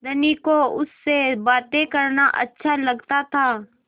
धनी को उससे बातें करना अच्छा लगता था